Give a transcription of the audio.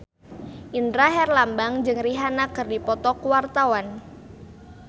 Indra Herlambang jeung Rihanna keur dipoto ku wartawan